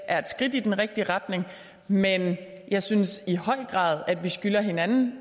er et skridt i den rigtige retning men jeg synes i høj grad at vi skylder hinanden